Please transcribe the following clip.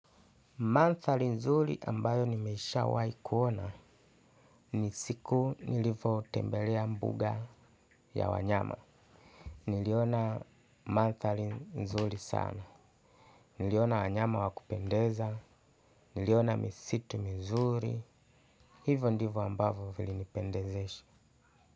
Mandhari nzuri ambayo nimesha wai kuona ni siku nilivo tembelea mbuga ya wanyama. Niliona mandhari nzuri sana. Niliona wanyama wakupendeza. Niliona misitu mizuri. Hivo ndivo ambavo vilinipendezesha.